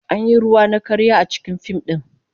An yi ruwa na karya a cikin fim din